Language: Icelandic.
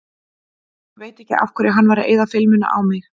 Veit ekki af hverju hann var að eyða filmunni á mig.